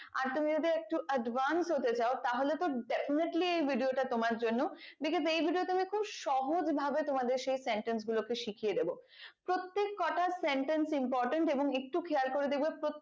আর তুমি যদি একটু advance হতে চাও তাহলে তো definitely এই video তা তোমার জন্য because এই video তোমরা খুব সহজ ভাবে তোমাদের সেই sentence গুলোকে শিখিয়ে দেব প্রত্যেক কোনো sentence importance এবং একটু খেয়াল করে দেখবে